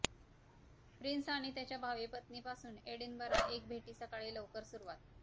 prince आणि त्याच्या भावी पत्नी पासून एडिनबरा एक भेटी सकाळी लवकर सुरुवात